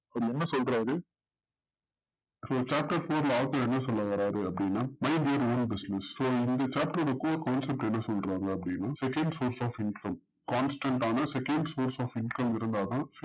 இவர் என்ன சொல்றாரு என்ன சொல்ல வராரு அப்டின்ன mind your own business இந்த chapter என்னசொல்றாரு அப்டின்ன second space of intro constant ஆன second spaced of intro இருந்தாதான்